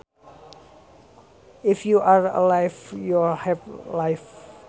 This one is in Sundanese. If you are alive you have life